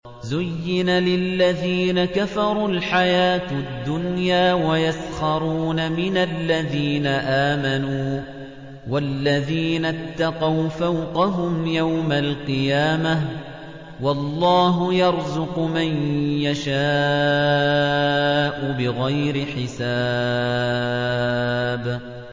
زُيِّنَ لِلَّذِينَ كَفَرُوا الْحَيَاةُ الدُّنْيَا وَيَسْخَرُونَ مِنَ الَّذِينَ آمَنُوا ۘ وَالَّذِينَ اتَّقَوْا فَوْقَهُمْ يَوْمَ الْقِيَامَةِ ۗ وَاللَّهُ يَرْزُقُ مَن يَشَاءُ بِغَيْرِ حِسَابٍ